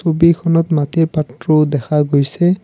ছবিখনত মাটিৰ পাত্ৰও দেখা গৈছে।